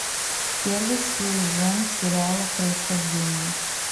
первый сезон сериала происхождение